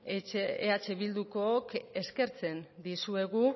eh bildukook eskertzen dizuegu